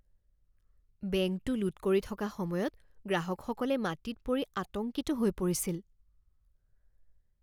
বেংকটো লুট কৰি থকা সময়ত গ্ৰাহকসকলে মাটিত পৰি আতংকিত হৈ পৰিছিল।